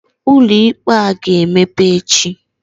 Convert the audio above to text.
Ụlọikpe a ga-emepe echi?